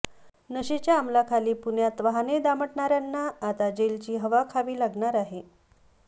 नशेच्या अंमलाखाली पुण्यात वाहने दामटणाऱ्यांना आता जेलची हवा खावी लागणार आहे